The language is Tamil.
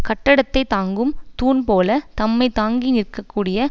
கட்டடத்தைத் தாங்கும் தூண் போல தம்மை தாங்கி நிற்க கூடிய